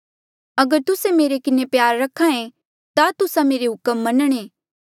अगर तुस्से मेरे किन्हें प्यार रख्हा ऐें ता तुस्सा मेरे हुक्म मनणें